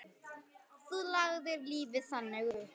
Þú lagðir lífið þannig upp.